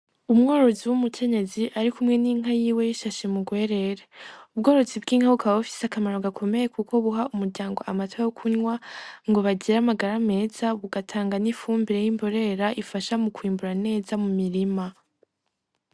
Umworozi w'umukenyezi ari kumwe n'inka yiwe ayifashe mu rwerere. Ubworozi bw'inka bukaba bufise akamaro gakomeye kuko buha umuryango amata yo kunywa ngo bagire amagara meza, bugatanga n'ifumbire y'imborera ifasha mu kwimbura neza mu mirima.